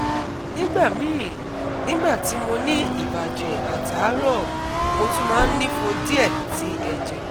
Nígbà míì, nígbà tí mo ní ìbàjẹ̀ àtàárọ̀, mo tún máa nìfo díẹ̀ẹ̀ ti ẹ̀jẹ̀